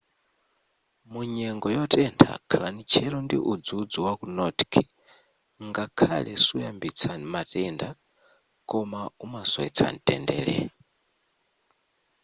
munyengo yotentha khalani tcheru ndi udzudzu waku nordic ngakhale suyambitsa matenda koma umasowetsa mtendere